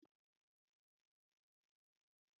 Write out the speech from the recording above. Rárá, mi ò sí ní tòsí, mi ò sí lẹ́nu iṣẹ́